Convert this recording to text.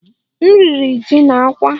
M riri ji na àkwá